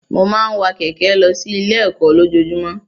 Mo máa ń wa kẹ̀kẹ́ lọ sí ilé ẹ̀kọ́ lójojúmọ́.